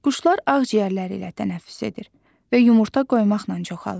Quşlar ağciyərləri ilə tənəffüs edir və yumurta qoymaqla çoxalır.